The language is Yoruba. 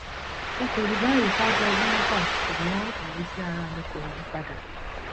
n kò rí báyìí ṣáájú ọdún mẹfà ṣùgbọn ìrísí ara mi kò yí padà